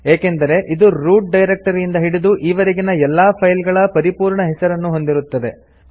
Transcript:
ಏಕೆಂದರೆ ಇದು ರೂಟ್ ಡೈರೆಕ್ಟರಿಯಿಂದ ಹಿಡಿದು ಈವರೆಗಿನ ಎಲ್ಲಾ ಫೈಲ್ ಗಳ ಪರಿಪೂರ್ಣ ಹೆಸರನ್ನು ಹೊಂದಿರುತ್ತದೆ